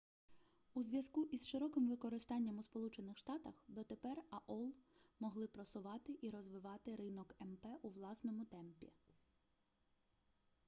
у зв'язку із широким використанням у сполучених штатах дотепер аол могли просувати і розвивати ринок мп у власному темпі